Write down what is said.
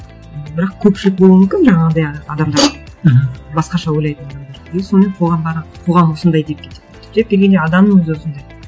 бірақ көпшілік болуы мүмкін жаңағындай адамдар мхм басқаша ойлайтын адамдар и сонымен қоғам барады қоғам осындай деп кетеді түптеп келгенде адамның өзі осындай